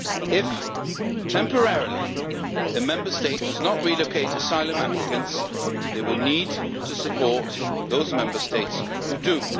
If temporarily a Member State does not relocate asylum applicants, they will need to support those Member States which do.